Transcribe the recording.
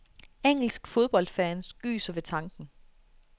Engelske fodboldfans gyser ved tanken.